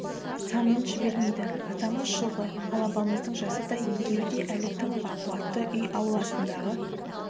санын жібермейді атамыз жылғы ал апамыздың жасы да екеуі де әлі тың бақуатты үй ауласындағы